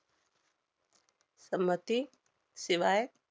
संमती~ शिवाय